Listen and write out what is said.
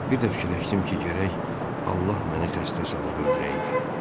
Bir də fikirləşdim ki, gərək Allah məni xəstə salıb öldürəydi.